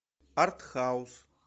артхаус